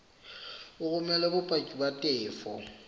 o romele bopaki ba tefo